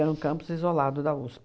Era um campus isolado da USP.